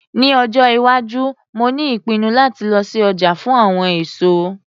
Ní ọjọ́ - iwájú mo ní ìpinnu láti lọ sí ọjà fún àwọn èso